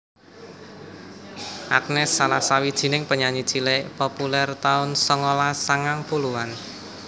Agnes salah sawijing penyanyi cilik populèr taun songolas sangang puluhan